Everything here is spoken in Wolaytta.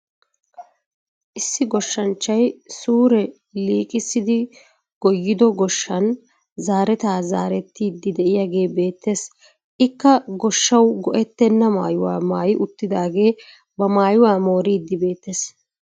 Issi goshshanchchay suure liiqissidi goyyido goshshan zerettaa zeriidi de'iyaagee beettees. ikka gooshshawu go"ettena maayuwaa maayi uttaagee ba maayuwaa mooriidi beettes.